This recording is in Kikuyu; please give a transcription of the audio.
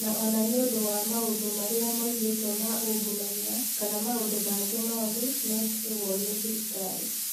na o na nĩ ũndũ wa maũndũ marĩa moigĩtwo ma ungumania kana maũndũ mangĩ moru mekagwo nĩ thirikari.